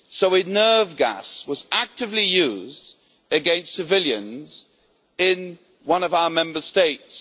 A nerve gas was actively used against civilians in one of our Member States.